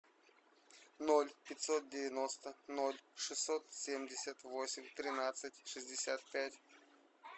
ноль пятьсот девяносто ноль шестьсот семьдесят восемь тринадцать шестьдесят пять